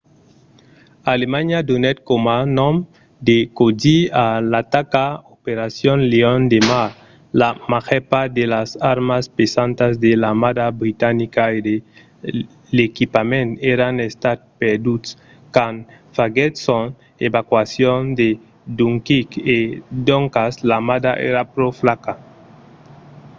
alemanha donèt coma nom de còdi a l’ataca operacion leon de mar”. la màger part de las armas pesantas de l’armada britanica e de l'equipament èran estat perduts quand faguèt son evacuacion de dunkirk e doncas l’armada èra pro flaca